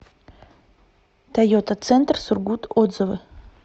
тойота центр сургут отзывы